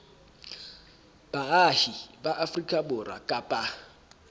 baahi ba afrika borwa kapa